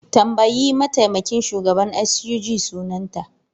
Tambayi mataimakin shugaban SUG sunanta!